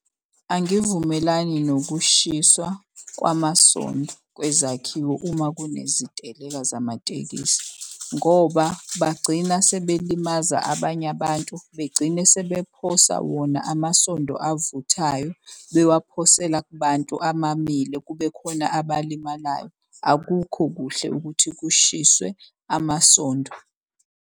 Angivumelani nokushiswa kwamasonto kwezakhiwo uma kuneziteleka zamatekisi. Ngoba bagcina sebelimaza abanye abantu begcine sephosa wona amasondo avuthayo, bewaphosela kubantu amamile. Kube khona abalimalayo, akukho kuhle ukuthi kushiswe amasondo.